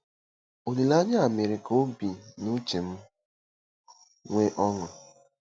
Olileanya a mere ka obi na uche m nwee ọṅụ.